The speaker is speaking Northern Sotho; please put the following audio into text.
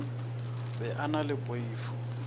be a na le poifo